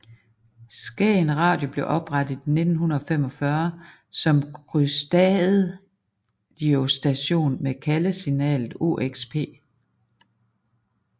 Skagen Radio blev oprettet i 1945 som kystradiostation med kaldesignalet OXP